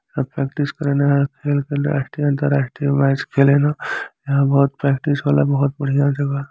सब प्रैक्टिस करेन अन्तर्राष्टीय मैच खेले न यहाँ बहुत प्रैक्टिस होला बहुत बढ़िया जगह ह |